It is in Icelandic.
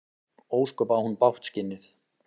Ósköp á hún bágt, skinnið.